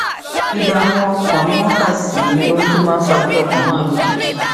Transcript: ìdààmú ọkàn ni wọn kà sí ohun tó máa ń fa kí ọkàn máa lù kìkì